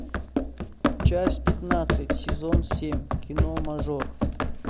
часть пятнадцать сезон семь кино мажор